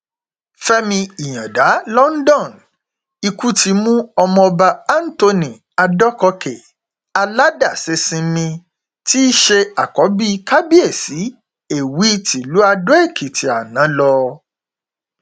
fẹmí ìyàǹdà london ikú ti mú ọmọọba anthony adọkọkè aládàṣesinmi tí í ṣe àkọbí kábíyèsí èwí tìlùú àdóèkìtì àná lọ